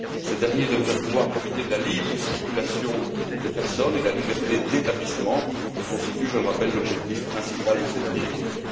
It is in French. Ces derniers devraient pouvoir profiter de la libre circulation des personnes et de la liberté d'établissement qui constituent, je le rappelle, l'objectif principal de cette directive.